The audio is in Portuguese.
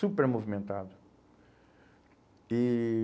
Super movimentado. E